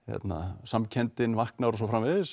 samkenndin vaknar og svo framvegis